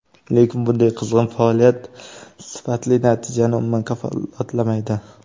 Lekin bunday qizg‘in faoliyat sifatli natijani umuman kafolatlamaydi.